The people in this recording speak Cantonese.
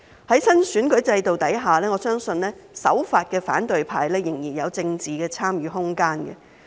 在新選舉制度下，我相信守法的反對派仍然有參與政治的空間。